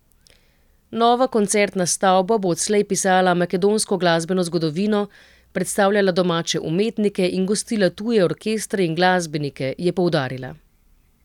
Nova koncertna stavba bo odslej pisala makedonsko glasbeno zgodovino, predstavljala domače umetnike in gostila tuje orkestre in glasbenike, je poudarila.